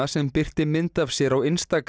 sem birti mynd af sér á